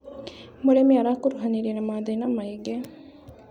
Mũrĩmi arakuruhanire na mathĩna maingĩ.